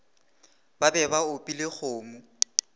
ba be ba opile kgomo